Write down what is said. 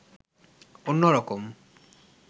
অন্যরকম